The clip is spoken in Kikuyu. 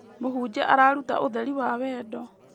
Mũhunjia araruta ũtheri wa wendo.